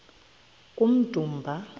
kummdumba